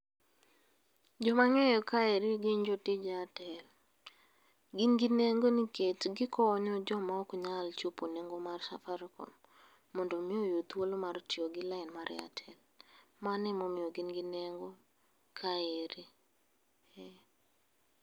Joma ang'eyo kaeri gin jotij Airtel. Gin gi nengo niket gikonyo joma ok nyal chopo nengo mar Safaricom mondo omi oyud thuolo mar tiyo gi lain mar Airtel. Mano emomiyo gin gi nengo kaeri, eh.